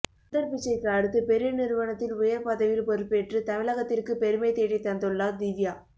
சுந்தர் பிச்சைக்கு அடுத்து பெரிய நிறுவனத்தில் உயர் பதவியில் பொறுப்பேற்று தமிழகத்திற்கு பெருமை தேடி தந்துள்ளார் திவ்யா